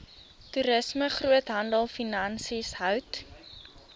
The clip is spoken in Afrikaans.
toerisme groothandelfinansies hout